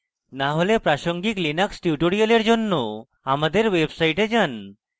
না হলে প্রাসঙ্গিক linux tutorials জন্য আমাদের website যান